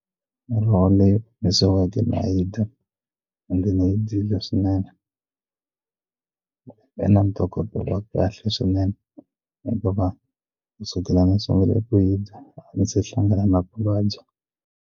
Muroho leyi omisiweke na yi dya leswinene ve na ntokoto ya kahle swinene hikuva kusukela ni sungule ku yi dya a ndzi se hlangana na ku vabya.